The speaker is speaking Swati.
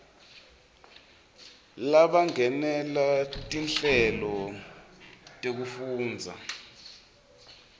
labangenela tinhlelo tekufundza